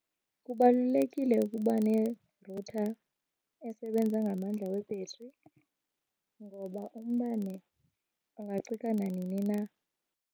Kubalulekile ukuba nerutha esebenza ngamandla webhetri ngoba umbane ungacika nanini na.